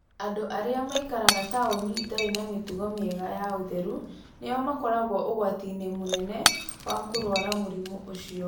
Andũ arĩa maikaraga taũni-inĩ itarĩ na mĩtugo mĩega ya ũtheru nĩo makoragwo ũgwati-inĩ mũnene wa kũrũara mũrimũ ũcio.